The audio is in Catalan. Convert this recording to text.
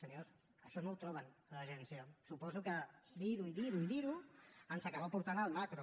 senyors això no ho troben a l’agència suposo que dir ho i dirho i dir ho ens acaba portant al macro